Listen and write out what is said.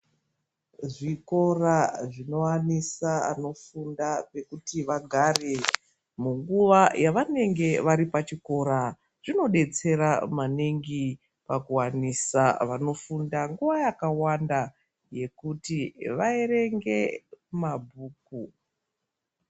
Zvikora zvinowanisa anofunda pekuti vagare munguva yavanenge vari pachikora. Zvinodetsera maningi pakuwanisa vanofunda nguwa yakawanda yekuti vaerenge mabhuku.